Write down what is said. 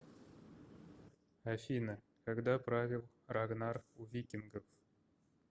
афина когда правил рагнар у викингов